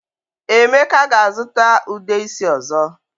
Emeka ga-azuta Ude isi ozo.